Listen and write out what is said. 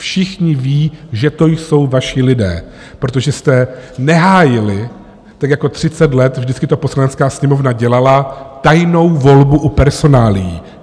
Všichni vědí, že to jsou vaši lidé, protože jste nehájili, tak jako 30 let vždycky to Poslanecká sněmovna dělala, tajnou volbu u personálií!